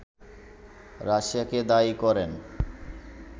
রাশিয়াকে দায়ী করেন